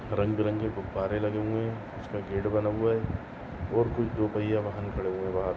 रंगबेरंगी गुब्बारे लगे हुए है उसका गेट बना हुआ है और कुछ दो पहिया वाहन खड़े हुए है वहा।